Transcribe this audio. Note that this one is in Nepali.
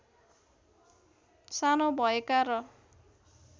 सानो भएका र